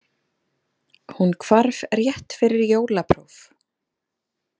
Hún hvarf rétt fyrir jólapróf.